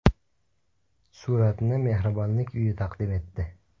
Suratni mehribonlik uyi taqdim etdi.